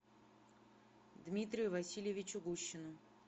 дмитрию васильевичу гущину